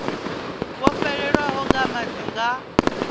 vho fhelelwaho nga madi nga